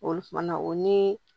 Olu kuma na o ni